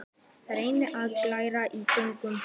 Reyni að galdra í gegnum það.